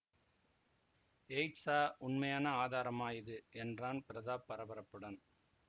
எயிட்ஸா உண்மையான ஆதாரமா இது என்றான் பிரதாப் பரபரப்புடன்